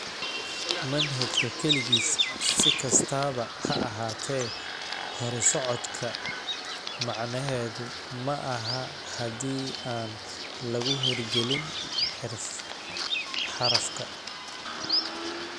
Manhajka keligiis, si kastaba ha ahaatee horusocodka, macnaheedu maahan haddii aan lagu hirgelin xarafka.